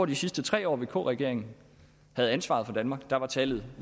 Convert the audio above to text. de sidste tre år vk regeringen havde ansvaret for danmark var tallet